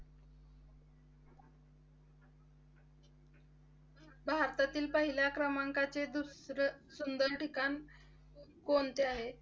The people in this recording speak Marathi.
भारतातील पहिल्या क्रमांकाचे दुसरे सुंदर ठिकाण कोणते आहे?